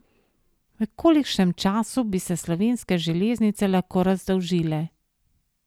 V kolikšnem času bi se Slovenske železnice lahko razdolžile?